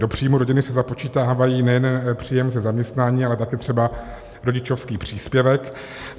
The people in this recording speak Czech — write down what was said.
Do příjmu rodiny se započítává nejen příjem ze zaměstnání, ale taky třeba rodičovský příspěvek.